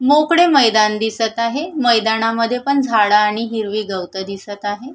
मोकळे मैदान दिसत आहे मैदानामद्धे पण झाड आणि हिरवी गवत दिसत आहे.